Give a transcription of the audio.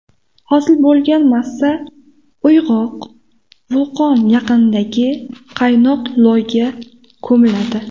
Hosil bo‘lgan massa uyg‘oq vulqon yaqinidagi qaynoq loyga ko‘miladi.